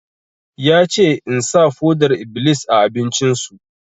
Ya ce in sa foɗar-iblis a abincin su!